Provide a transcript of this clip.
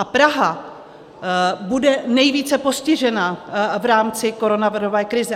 A Praha bude nejvíce postižená v rámci koronavirové krize.